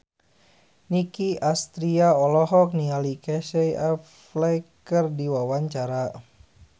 Nicky Astria olohok ningali Casey Affleck keur diwawancara